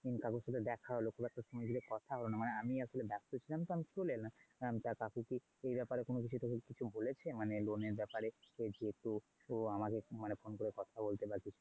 কাকুর সাথে দেখা হলো খুব একটা সময় ধরে কথা হলো না মানে আমি আসলে ব্যস্ত ছিলাম তো আমি চলে এলাম। তা কাকুকিই এই ব্যাপারে কোনও কিছু তোকে কিছু বলেছে মানে loan এর ব্যাপারে কি যেত তো আমাকে ফোন করে কথা বলতে বা কিছু?